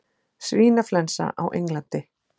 Svínaflensa á Englandi